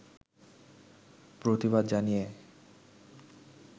প্রতিবাদ জানিয়ে